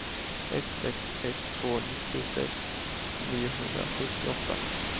ett sex ett två nittiosex niohundrasjuttioåtta